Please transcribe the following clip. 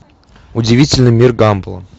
удивительный мир гамбола